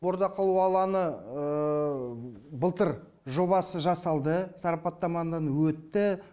бордақылау алаңы былтыр жобасы жасалды сарапаттамадан өтті